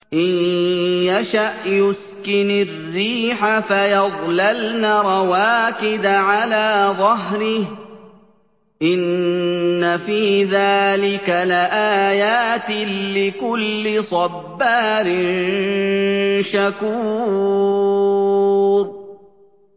إِن يَشَأْ يُسْكِنِ الرِّيحَ فَيَظْلَلْنَ رَوَاكِدَ عَلَىٰ ظَهْرِهِ ۚ إِنَّ فِي ذَٰلِكَ لَآيَاتٍ لِّكُلِّ صَبَّارٍ شَكُورٍ